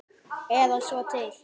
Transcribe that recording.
Eða svo til.